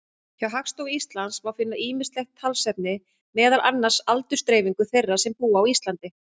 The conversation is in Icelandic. Hjá Hagstofu Íslands má finna ýmislegt talnaefni, meðal annars aldursdreifingu þeirra sem búa á Íslandi.